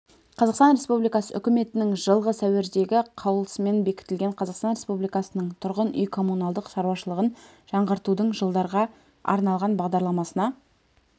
қазақстан республикасы үкіметінің жылғы сәуірдегі қаулысымен бекітілген қазақстан республикасының тұрғын үй-коммуналдық шаруашылығын жаңғыртудың жылдарға арналған бағдарламасына